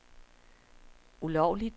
ulovligt